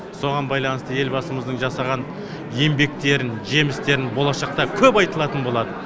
соған байланысты елбасымыздың жасаған еңбектерін жемістерін болашақта көп айтылатын болады